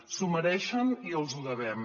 s’ho mereixen i els ho devem